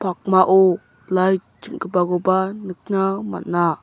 pakmao lait ching·gipakoba nikna man·a.